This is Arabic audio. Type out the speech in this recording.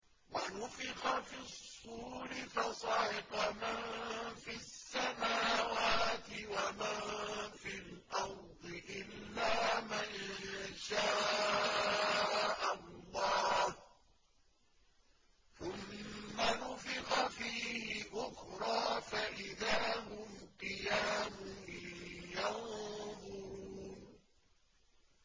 وَنُفِخَ فِي الصُّورِ فَصَعِقَ مَن فِي السَّمَاوَاتِ وَمَن فِي الْأَرْضِ إِلَّا مَن شَاءَ اللَّهُ ۖ ثُمَّ نُفِخَ فِيهِ أُخْرَىٰ فَإِذَا هُمْ قِيَامٌ يَنظُرُونَ